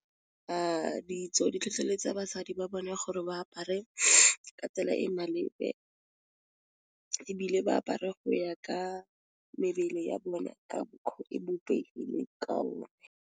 Ditso di tlhotlheletsa basadi ba bone gore ba apare ka tsela e e maleba, ebile ba apare go ya ka mebele ya bona ka mokgo e bopegileng ka .